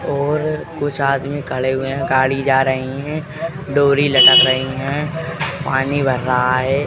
और कुछ आदमी खड़े हुए हैं गाड़ी जा रही है। डोरी लटक रही हैं पानी भर रहा है।